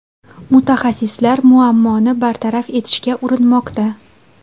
Mutaxassislar muammoni bartaraf etishga urinmoqda.